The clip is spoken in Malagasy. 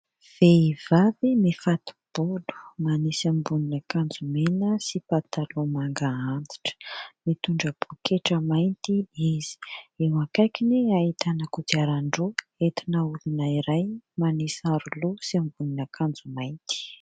Vehivavy mifato-bolo, manisy ambonin'akanjo mena sy pataloha manga antitra, mitondra pôketra mainty izy, eo akaikiny ahitana kodiaran-droa entina olona iray manisy aro-loha sy ambonin'akanjo mainty.